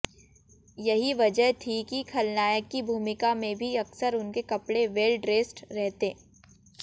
यही वजह थी कि खलनायक की भूमिका में भी अक्सर उनके कपड़े वेल ड्रेस्ड रहते